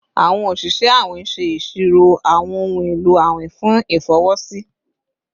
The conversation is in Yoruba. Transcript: Awọn oṣiṣẹ awin ṣe iṣiro awọn ohun elo awin fun ifọwọsi